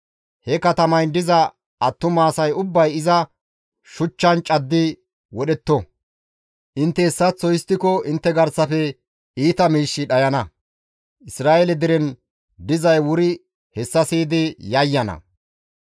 He katamayn diza attuma asay ubbay iza shuchchan caddi wodhetto; intte hessaththo histtiko intte garsafe iita miishshi dhayana; Isra7eele deren dizay wuri hessa siyidi yayyana.